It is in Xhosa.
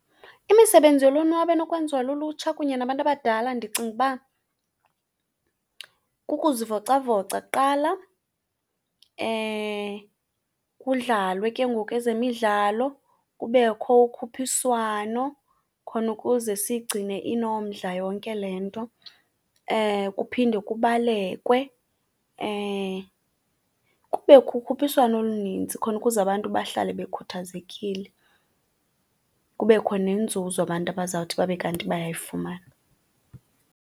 Imisebenzi yolonwabo enokwenziwa lulutsha kunye nabantu abadala ndicinga ukuba kukuzivocavoca kuqala, kudlalwe ke ngoku ezemidlalo, kubekho ukhuphiswano khona ukuze siyigcine inomdla yonke le nto. Kuphinde kubalekwe, kubekho ukhuphiswano oluninzi khona ukuze abantu bahlale bekhuthazekile, kubekho nenzuzo abantu abazawuthi babe kanti bayayifumana.